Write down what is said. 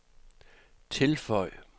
tilføj